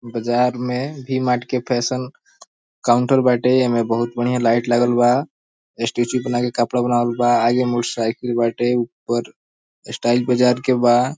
बाज़ार में V Mart के फैशन काउंटर बाटे एमे बहुत बढ़िया लाइट लागल बा स्टेचू बना के कपड़ा बनावल बा आगे मोटर साइकिल बाटे। ऊपर स्टाइल बाज़ार के बा।